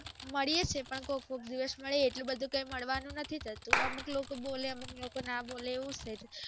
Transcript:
મળીએ છે પણ કોક કોક દિવસ મળીએ છીએ આટલું બધુ કઈ મળવાનું નથી થતું અમુક લોકો બોલે અમુક લોકો ના બોલે એવું થાય છે